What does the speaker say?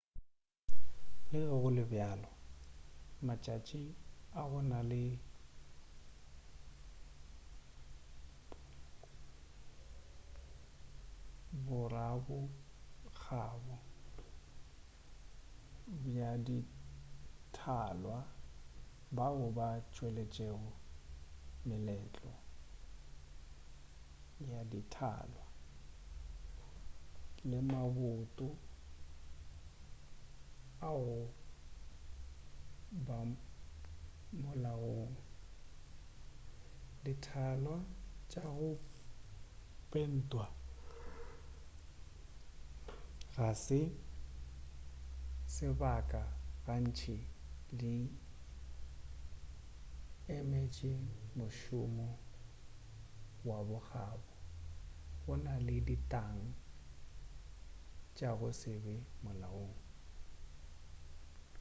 le ge go le bjalo matšatši a go na le borabokgabo ba dithalwa bao ba tšweletšego meletlo ya dithalwa le maboto a go ba molaong dithalwa tša go pentwa ka se sebaka gantši di emetše mošomo wa bo kgabo go na le ditag tša go se be molaong